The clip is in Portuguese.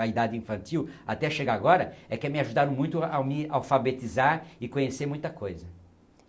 a idade infantil, até chegar agora, é que me ajudaram muito a me alfabetizar e conhecer muita coisa.